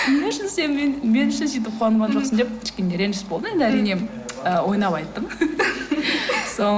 не үшін сен мен мен үшін сөйтіп қуанған жоқсың деп кішкене реніш болды енді әрине ы ойнап айттым